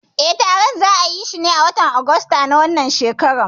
Eh, taron za'ayishi ne a watan Ogosta na wannan shekarar.